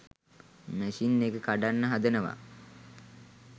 machine එක කඩන්න හදනවා